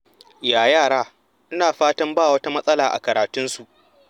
Ya yara? Ina fatan ba wata matsala a karatun su.